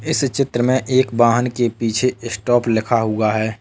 इस चित्र में एक वाहन के पीछे स्टॉप लिखा हुआ है।